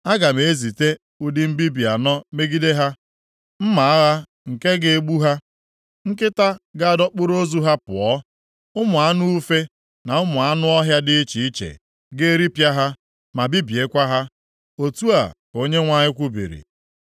“Aga m ezite ụdị mbibi anọ megide ha: mma agha nke ga-egbu ha, nkịta ga-adọkpụrụ ozu ha pụọ, ụmụ anụ ufe na ụmụ anụ ọhịa dị iche iche ga-eripịa ha, ma bibiekwa ha.” Otu a ka Onyenwe anyị kwubiri.